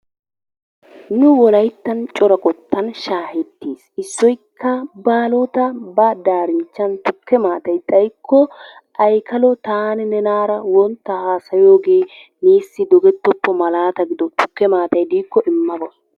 Nu wolayttan cora qottan shaahettettes. Issoykka Baalota ba daarinchchan tukke maatay xaykko Aykkalo taani nunaara wontta haasayoogee neesi digettoppo malaata gido tukke maatay diikko imma ga.